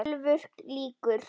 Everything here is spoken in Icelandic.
TÖLVUR LÝKUR